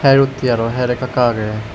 her utti aro her ekka ekka agey.